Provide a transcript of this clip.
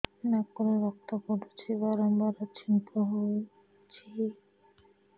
ନାକରୁ ରକ୍ତ ପଡୁଛି ବାରମ୍ବାର ଛିଙ୍କ ହଉଚି